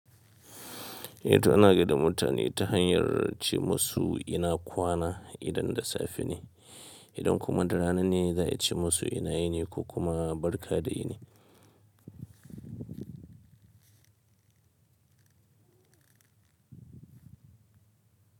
Yanzu ana gai da mutane ta hanyar ce musu ina kwana idan da safe ne, idan kuma da rana ne za a ce musu ina ini ko kuma barka da ini.